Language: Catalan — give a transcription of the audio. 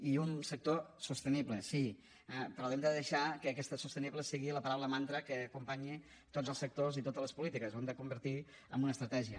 i un sector sostenible sí però haurem de deixar que aquesta sostenible sigui la paraula mantra que acompanyi tots els sectors i totes les polítiques ho hem de convertir en una estratègia